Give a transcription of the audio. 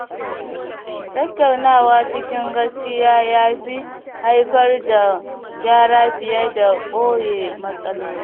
Tattaunawa cikin gaskiya ya fi haifar da gyara fiye da ɓoye matsaloli.